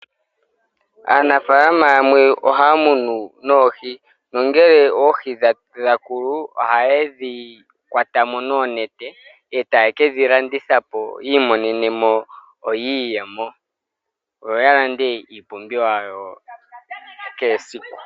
Aanafalama yamwe ohaa munu oohi nongele oohi dhakoko, ohayedhi kwatamo noonete etaye kedhilandithapo yiimonene mo iiyemo nokukiilandela oompumbwe dhawo dhakehe siku.